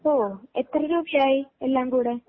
ഓ എത്ര രൂപയായി എല്ലാം കൂടെ.